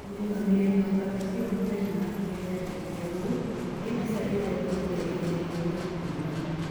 Mũrũgamĩrĩri wa kamĩtĩ ĩyo mũthenya wa Kerĩ aandĩkire ũũ: "Nĩ mbica ĩrĩa thĩ yothe ĩrerirĩria kuona.